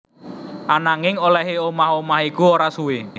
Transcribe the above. Ananging olèhé omah omah iku ora suwé